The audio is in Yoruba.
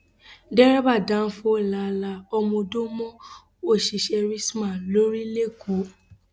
derébà dánfọ la la ọmọọdọ mọ òṣìṣẹ rstma lórí lẹkọọ